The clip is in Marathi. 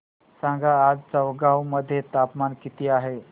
सांगा आज चौगाव मध्ये तापमान किता आहे